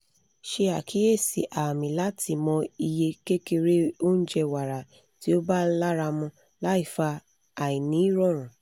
se akiyesi aami lati mo iye kekere ounje wara ti o ba laramu laifa ainirorun